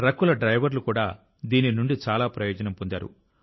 ట్రక్కుల డ్రైవర్లు కూడా దీని నుండి చాలా ప్రయోజనం పొందారు